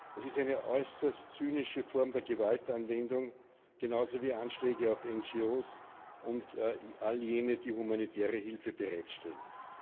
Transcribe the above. Das ist eine äußerst zynische Form der Gewaltanwendung, genauso wie Anschläge auf NGO und all jene, die humanitäre Hilfe bereitstellen.